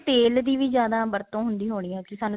ਤੇਲ ਦੀ ਵੀ ਜਿਆਦਾ ਵਰਤੋ ਹੁੰਦੀ ਹੋਣੀ ਹੈ ਕਿ